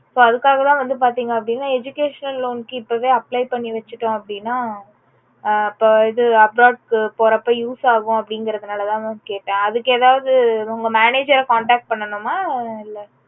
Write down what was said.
so அதுக்காக தா வந்து பாத்தீங்கன்னா educational loan க்கு இப்போவே apply பண்ணிவெச்சிட்டோம் அப்புடின்னா ஆஹ் இது abroad க்கு போறப்போ use ஆகும் அப்புடிங்கறதுனால தா mam கேட்டேன் அதுக்கு எதாவது உங்க manager contact பண்ணனுமா இல்ல